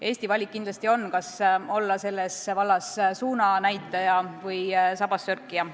Eesti valik on olla selles vallas kas suunanäitaja või sabassörkija.